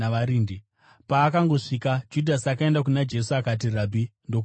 Paakangosvika, Judhasi akaenda kuna Jesu, akati, “Rabhi!” ndokumutsvoda.